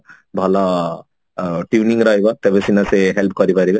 ଭଲ ଅ tuning ରହିବ ତେବେ ସିନା ସେ help କରିପାରିବେ